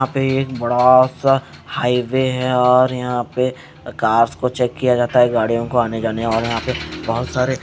यहां पे एक बड़ा सा हाईवे है और यहां पे कार्स को चेक किया जाता है गाड़ियों को आने जाने और यहां पे बहोत सारे--